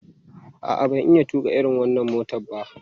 A'a, ban iya tuƙa irin wannan motar ba.